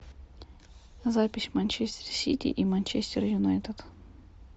запись манчестер сити и манчестер юнайтед